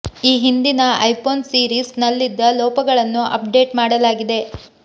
ಈ ಹಿಂದಿನ iPhone series ನಲ್ಲಿದ್ದ ಲೋಪಗಳನ್ನು ಅಪ್ ಡೆಟ್ ಮಾಡಲಾಗಿದೆ